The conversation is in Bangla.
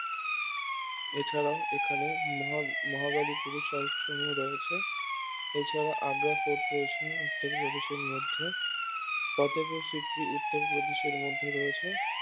এছাড়াও এখানে মহা~ মহাবলীপুরম স্মারকসমূহ রয়েছে এছাড়া আগ্রা ফোর্ট রয়েছে উত্তর প্রদেশের মধ্যে ফতেহপুর সিক্রি উত্তর প্রদেশের মধ্যে রয়েছে